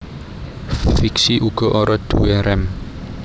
Fixie uga ora duwé rem